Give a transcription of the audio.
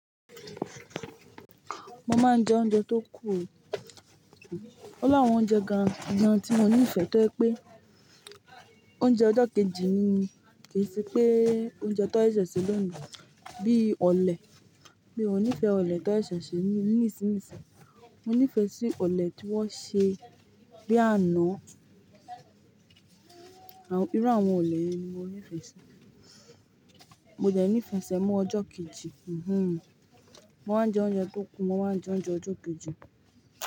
Mo máa ń jẹ oúnjẹ tó kù. Ó láwọn oúnjẹ gan-an tí mo nífẹ̀ẹ́ tó yẹ pé oúnjẹ ọjọ́ kejì ni, kì í ṣe pé oúnjẹ tó ṣẹ̀ṣẹ̀ ṣe lónìí bíi ọ̀lẹ̀. Mi ó nífẹ̀ẹ́ ọ̀lẹ̀ tó ṣẹ̀ṣẹ̀ ṣe ni ìsínisín, mo nífẹ̀ẹ́ sí ọ̀lẹ̀ tí wọ́n ṣe bí àná. Irú àwọn ọ̀lẹ yen ni mo nífẹ̀ẹ́ sí. Mo dẹ̀ ní fẹ sẹ̀mo ọjọ́ kejì. Mo máa ń jẹ oúnjẹ tó kù, mo máa ń jẹ oúnjẹ ọjọ́ kejì.